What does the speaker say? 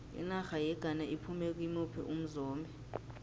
inarha yeghana iphume kimuphi umzombe